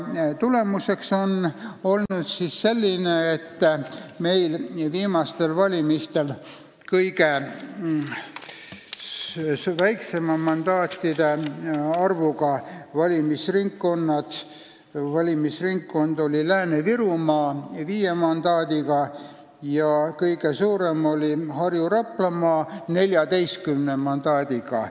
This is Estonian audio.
Tulemus on see, et viimastel valimistel oli kõige väiksema mandaatide arvuga valimisringkond Lääne-Virumaa viie mandaadiga ning kõige suurem oli Harju- ja Raplamaa 14 mandaadiga.